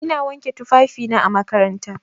Ina wanke tufafina na makaranta.